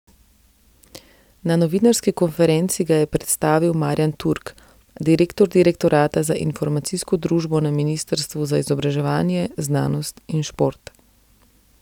Na novinarski konferenci ga je predstavil Marjan Turk, direktor direktorata za informacijsko družbo na ministrstvu za izobraževanje, znanost in šport.